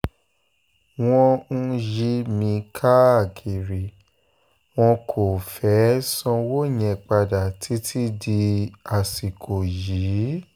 wọ́n ń yí mi káàkiri wọn kò um fẹ́ẹ́ sanwó yẹn padà títí di um àsìkò yìí